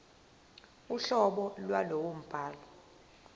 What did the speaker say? uhlobo lwalowo mbhalo